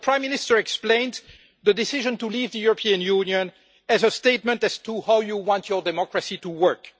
As your Prime Minister explained, the decision to leave the European Union is a statement as to how you want your democracy to work.